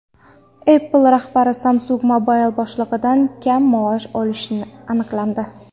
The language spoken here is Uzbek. Apple rahbari Samsung Mobile boshlig‘idan kam maosh olishi aniqlandi.